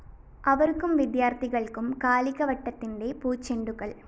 അവര്‍ക്കും വിദ്യാര്‍ത്ഥികള്‍ക്കും കാലികവട്ടത്തിന്റെ പൂച്ചെണ്ടുകള്‍!!